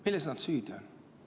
Milles nad süüdi on?